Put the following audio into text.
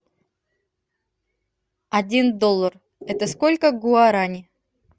один доллар это сколько гуарани